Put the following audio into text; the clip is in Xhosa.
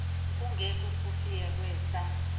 kunge kukufika kwesa